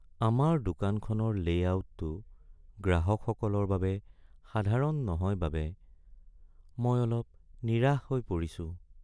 আমাৰ দোকানখনৰ লে’আউটটো গ্ৰাহকসকলৰ বাবে সাধাৰণ নহয় বাবে মই অলপ নিৰাশ হৈ পৰিছোঁ।